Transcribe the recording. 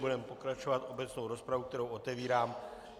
Budeme pokračovat obecnou rozpravou, kterou otevírám.